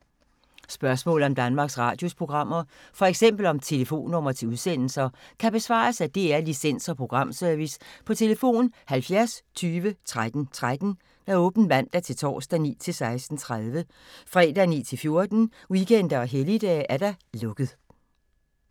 Spørgsmål om Danmarks Radios programmer, f.eks. om telefonnumre til udsendelser, kan besvares af DR Licens- og Programservice: tlf. 70 20 13 13, åbent mandag-torsdag 9.00-16.30, fredag 9.00-14.00, weekender og helligdage: lukket.